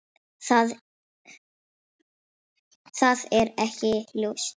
Það er alls ekki ljóst.